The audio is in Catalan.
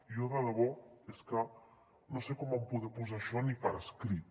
jo de debò és que no sé com van poder posar això ni per escrit